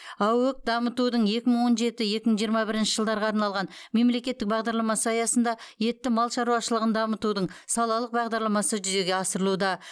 аөк дамытудың екі мың он жеті екі мың жиырма бірінші жылдарға арналған мемлекеттік бағдарламасы аясында етті мал шаруашылығын дамытудың салалық бағдарламасы жүзеге асырылуда